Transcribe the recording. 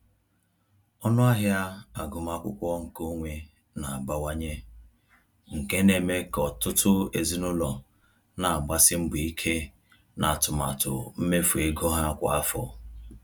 Ọnụ ahịa agụmakwụkwọ nke onwe na-abawanye, nke na-eme ka ọtụtụ ezinụlọ na-agbasi mbọ ike n’atụmatụ mmefu ego ha kwa afọ.